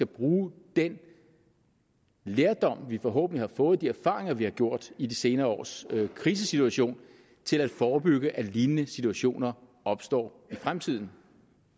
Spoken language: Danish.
bruge den lærdom vi forhåbentlig har fået de erfaringer vi har gjort i de senere års krisesituation til at forebygge at lignende situationer opstår i fremtiden